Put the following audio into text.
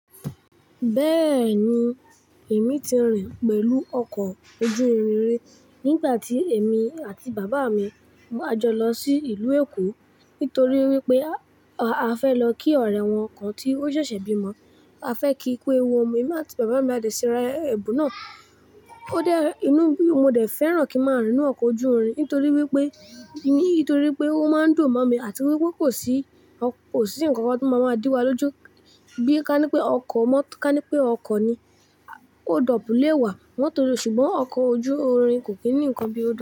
Bẹ́ẹ̀ni, èmi ti rìn pẹ̀lú ọkọ̀ ojú irin rí nígbà tí èmi àti bàbá mi a jọ lọ sí ìlú Èkó nítorí wípé a fẹ́ lọ kí ọ̀rẹ́ wọn kan tí ó ṣẹ̀ṣẹ̀ bímọ. A fẹ́ kí ku ewu omo, èmi àti bàbá mi a dẹ̀ síra ẹ̀bù náà. Ó dé inú, mo dẹ̀ fẹ́ràn kí ń máa rìn inú ọkọ̀ ojú irin nítorí wípé, nítorí wípé ó máa ń dùn mọ̀ mí àti wípé kò sí, kò sí ǹkan kan tó máa máa dí wa lójú. Bí ka ní pé ọkọ̀ mọ́, ka ní pé ọkọ̀ ni hold up lẹ̀ wá, wọ́n tó lo, ṣùgbọ́n ọkọ̀ ojú irin kò kí ní ǹkan bí ó ṣe.